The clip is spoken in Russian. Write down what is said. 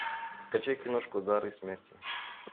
скачай киношку дары смерти